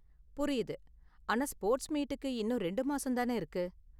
புரியுது, ஆனா ஸ்போர்ட்ஸ் மீட்டுக்கு இன்னும் ரெண்டு மாசம் தான இருக்கு?